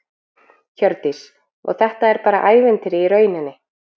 Hjördís: Og þetta er bara ævintýri í rauninni?